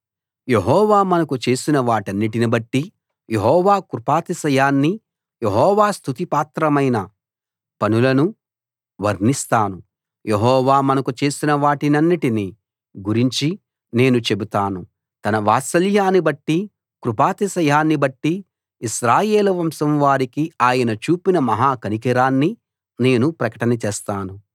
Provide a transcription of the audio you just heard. యెహోవా మనకు చేసినవాటన్నిటినిబట్టి యెహోవా కృపాతిశయాన్ని యెహోవా స్తుతి పాత్రమైన పనులను వర్ణిస్తాను యెహోవా మనకు చేసిన వాటన్నిటిని గురించి నేను చెబుతాను తన వాత్సల్యాన్ని బట్టి కృపాతిశయాన్ని బట్టి ఇశ్రాయేలు వంశం వారికి ఆయన చూపిన మహాకనికరాన్ని నేను ప్రకటన చేస్తాను